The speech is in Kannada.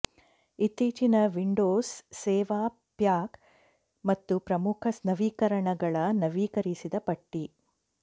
ಇತ್ತೀಚಿನ ವಿಂಡೋಸ್ ಸೇವಾ ಪ್ಯಾಕ್ ಮತ್ತು ಪ್ರಮುಖ ನವೀಕರಣಗಳ ನವೀಕರಿಸಿದ ಪಟ್ಟಿ